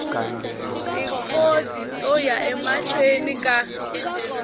tikhodi to ya emahlweni eka